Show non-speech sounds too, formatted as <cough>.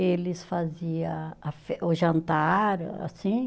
Eles fazia a <unintelligible> o jantar, assim.